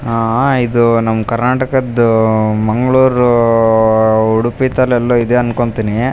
ಆಹ್ಹ್ ಆಹ್ಹ್ ಇದು ನಮ್ಮ್ ಕರ್ನಾಟಕದ್ದು ಆಹ್ಹ್ ಮಂಗಳೂರೂ ಆಹ್ಹ್ ಉಡುಪಿ ತಲೆಲ್ಲೋ ಇದೆ ಅನ್ಕೊಂತೀನಿ --